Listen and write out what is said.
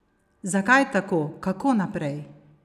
Zakaj tako, kako naprej?